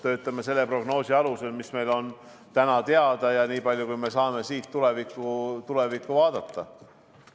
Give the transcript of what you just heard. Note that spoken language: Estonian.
Töötame selle prognoosi alusel, mis meil on täna teada ja nii palju, kui me saame siit tulevikku vaadata.